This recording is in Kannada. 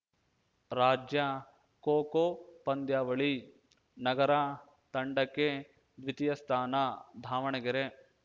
ರಾಜ್ಯ ಖೋಖೋ ಪಂದ್ಯಾವಳಿ ನಗರ ತಂಡಕ್ಕೆ ದ್ವಿತೀಯ ಸ್ಥಾನ ಧಾವಣಗೆರೆ